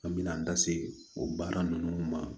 An mina an da se o baara nunnu ma